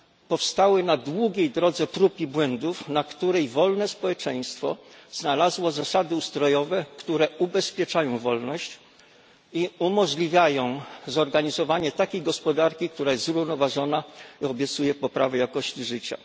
Powstały na długiej drodze prób i błędów, na której wolne społeczeństwo znalazło zasady ustrojowe, które ubezpieczają wolność i umożliwiają zorganizowanie takiej gospodarki, która jest zrównoważona i obiecuje poprawę jakości życia.